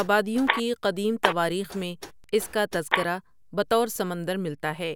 آبادیوں کی قدیم تواریخ میں اس کا تذکرہ بطور سمندر ملتا ہے